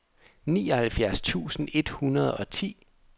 nioghalvfjerds tusind et hundrede og ti